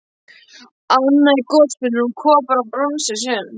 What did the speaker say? Annað er gosbrunnur úr kopar og bronsi sem